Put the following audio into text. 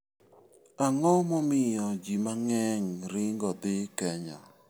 Ang'o momiyo ji mang'eny ringo dhi Kenya?